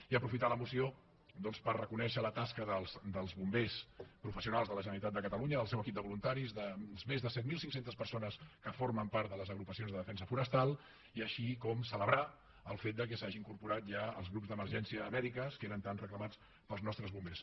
i aprofitar la moció doncs per reconèixer la tasca dels bombers professionals de la generalitat de catalunya del seu equip de voluntaris de les més de set mil cinc cents persones que formen part de les agrupacions de defensa forestal i així com celebrar el fet que s’hi hagin incorporat ja els grups d’emergències mèdiques que eren tan reclamats pels nostres bombers